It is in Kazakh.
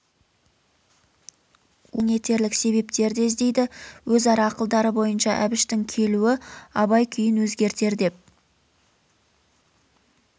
олар абайды алаң етерлік себептер де іздейді өзара ақылдары бойынша әбіштің келуі абай күйін өзгертер деп